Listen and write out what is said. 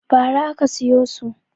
Ba ra aka siyo su